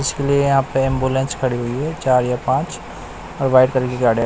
इसलिए यहा पे एम्बुलेंस खड़ी हुई है चार या पाच और वाइट कलर की गाड़िया--